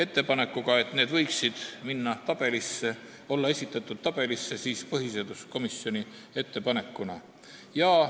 Ta pani ette, et need võiksid olla esitatud tabelis põhiseaduskomisjoni ettepanekutena.